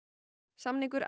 samningur